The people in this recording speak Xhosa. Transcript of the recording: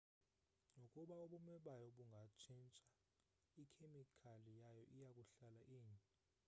nokuba ubume bayo bungatshintsha ikhemikhali yayo iyakuhlala inye